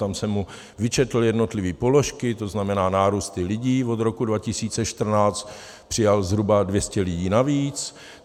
Tam jsem mu vyčetl jednotlivé položky, to znamená nárůsty lidí, od roku 2014 přijal zhruba 200 lidí navíc.